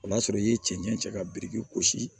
O y'a sɔrɔ i ye cɛncɛn cɛ ka biriki gosi